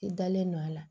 I dalen don a la